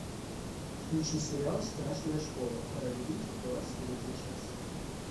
включи сериал страшная школа пора любить двадцать третья часть